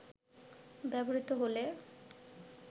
ব্যবহৃত হলে